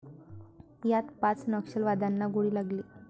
यात पाच नक्षलवाद्यांना गोळी लागली.